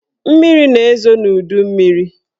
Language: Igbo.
Mmiri na-ezo n'udummiri